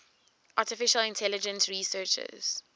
artificial intelligence researchers